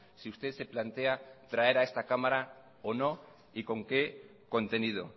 si usted se plantea traer a esta cámara o no y con qué contenido